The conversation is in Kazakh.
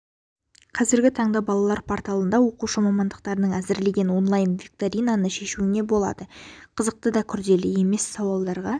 қазіргі таңда балалар порталында оқушы мамандарының әзірлеген онлайн викторинаны шешуіне болады қызықты да күрделі емес сауалдарға